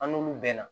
An n'olu bɛɛ na